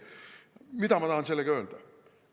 Mida ma tahan sellega öelda?